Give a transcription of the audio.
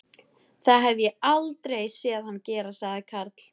Það hef ég aldrei séð hann gera sagði Karl.